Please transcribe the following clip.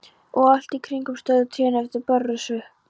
Og allt í kring stóðu trén eftir berrössuð.